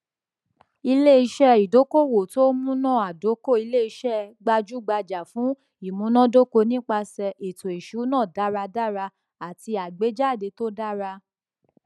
iléiṣẹ ìdókòwò tó múnádóko iléiṣẹ gbajúgbajà fún ìmúnádóko nípasẹ ètòìṣúná dáradára àti àgbéjáde tó dára